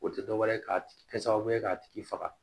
O tɛ dɔ wɛrɛ ye ka kɛ sababu ye k'a tigi faga